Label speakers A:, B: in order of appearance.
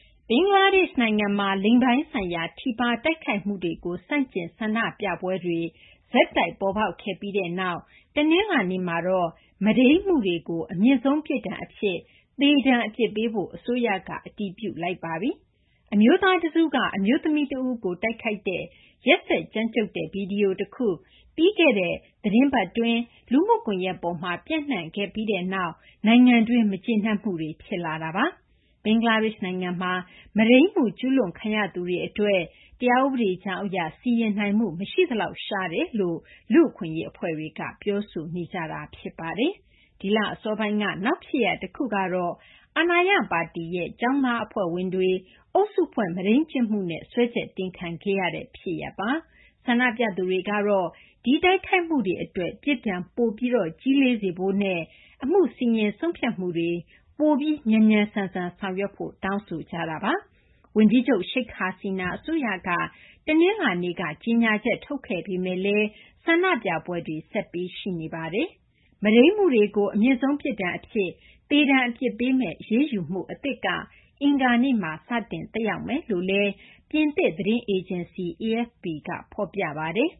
A: ဘင်္ဂလားဒေရှ့် နိုင်ငံမှာ လိင်ပိုင်းဆိုင်ရာ ထိပါး တိုက်ခိုက်မှုတွေကို ဆန့်ကျင် ဆန္ဒပြပွဲတွေ ဆက်တိုက် ပေါ်ပေါက်ခဲ့ပြီးနောက် တနလာၤနေ့မှာတော့ မုဒိမ်းမှုတွေကို အမြင့်ဆုံး ပြစ်ဒဏ် အဖြစ် သေဒဏ် အပြစ်ပေးဖို့ အစိုးရက အတည်ပြုလိုက်ပါပြီ။ အမျိုးသား တစုက အမျိုးသမီး တဦးကို တိုက်ခိုက်တဲ့ ရက်စက် ကြမ်းကြုတ်တဲ့ ဗွီဒီယို တခု ပြီးခဲ့တဲ့ သီတင်းပတ်က လူမှုကွန်ရက် ပေါ်မှာ ပျံ့နှံ့ခဲ့ပြီးနောက်မှာ နိုင်ငံတွင်း မကျေနပ်မှုတွေ ဖြစ်လာတာပါ။ ဘင်္ဂလားဒေရှ့်နိုင်ငံမှာ မုဒိမ်းမှု ကျူးလွန်ခံရသူတွေ အတွက် တရားဥပဒေကြောင်း အရ စီရင်နိုင်မှု မရှိသလောက် ရှားတယ်လို့ လူ့အခွင့်အရေး အဖွဲ့တွေက ပြောဆိုနေကြတာလည်း ဖြစ်ပါတယ်။ ဒီလ အစောပိုင်းက နောက် ဖြစ်ရပ် တခုကတော့ အာဏာရပါတီရဲ့ ကျောင်းသား အဖွဲ့ဝင်တွေ အုပ်စုဖွဲ့ မုဒိမ်းကျင့်မှုနဲ့ စွဲချက် တင်ခံခဲ့ရတာဖြစ်ပါတယ်။ ဆန္ဒပြသူတွေကတော့ ဒီ တိုက်ခိုက်မှုတွေ အတွက် ပြစ်ဒဏ် ပိုပြီး ကြီးလေးစေဖို့နဲ့ အမှု စီရင်ဆုံးဖြတ်မှုတွေ ပိုပြီး မြန်မြန်ဆန်ဆန် ဆောင်ရွက်ဖို့ တောင်းဆိုကြတာပါ။ ဝန်ကြီးချုပ် Sheikh Hasina အစိုးရက တနလာၤနေ့က ကြေညာချက် ထုတ်ခဲ့ပေမယ့်လည်း ဆန္ဒပြပွဲတွေ ဆက်ရှိနေပါတယ်။ မုဒိမ်းမှုတွေကို အမြင့်ဆုံး ပြစ်ဒဏ် အဖြစ် သေဒဏ် အပြစ်ပေးမယ့် အရေးယူမှု အသစ်က အင်္ဂါနေ့မှာ စတင် သက်ရောက်မယ်လို့လည်း ပြင်သစ် သတင်းအေဂျင်စီ AFP က ဖော်ပြပါတယ်